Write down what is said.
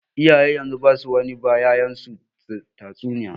Iyayen yanzu basu wani ba ƴa'ƴansu tatsuniya.